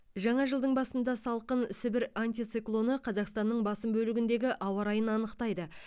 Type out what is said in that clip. жаңа жылдың басында салқын сібір антициклоны қазақстанның басым бөлігіндегі ауа райын анықтайды